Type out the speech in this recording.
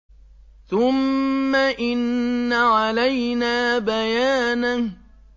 ثُمَّ إِنَّ عَلَيْنَا بَيَانَهُ